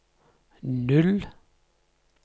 null